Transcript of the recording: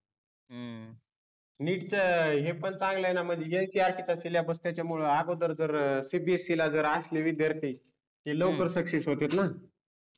NEET च हे पन चांगल आहे न म्हणजे NCERT चा सिलॅबस त्याच्यामुळं अगोदर जर CBSE ला जर असली विद्यार्थी की लवकर सक्सेस होतात न